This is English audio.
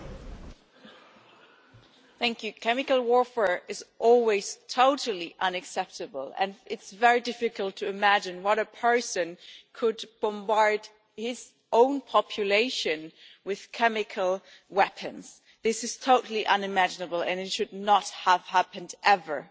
Mr President, chemical warfare is always totally unacceptable and it is very difficult to imagine what kind of a person could bombard his own population with chemical weapons. This is totally unimaginable, and it should not have happened ever.